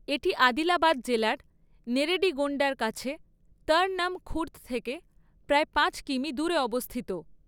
এটি আদিলাবাদ জেলার নেরেডিগোন্ডার কাছে তরনম খুর্দ থেকে প্রায় পাঁচ কিমি দূরে অবস্থিত।